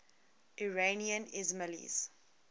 iranian ismailis